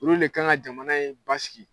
Olu de kan ka jamana in basigi.